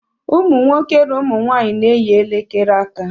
Ụmụ nwoke na ụmụ nwanyị na-eyi elekere aka